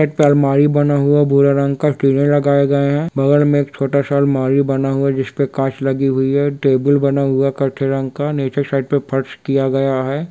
एता अलमारी बना हुआ भूरे रंग का किले लगाए गए है बगल में एक छोटा सा अलमारी बना हुआ है जिसपे काँच लगी हुई है टेबुल बना हुआ कथेई रंग का निचे साइड में फर्श किया गया है।